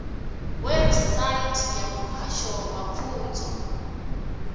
website ya muhasho wa pfunzo